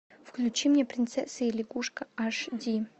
включи мне принцесса и лягушка аш ди